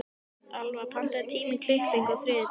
Alfa, pantaðu tíma í klippingu á þriðjudaginn.